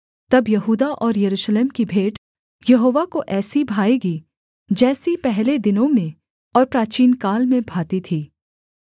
तब यहूदा और यरूशलेम की भेंट यहोवा को ऐसी भाएगी जैसी पहले दिनों में और प्राचीनकाल में भाती थी